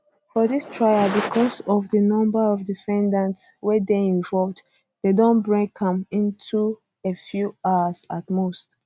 for dis trial becos of di number of defendants wey dey involved dem don break am into a few hours at most most um